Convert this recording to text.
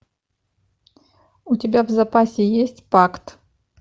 у тебя в запасе есть пакт